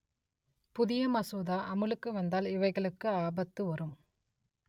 புதிய மசோதா அமலுக்கு வந்தால் இவைகளுக்கு ஆபத்து வரும்